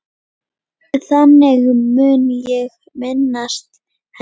Þannig mun ég minnast hennar.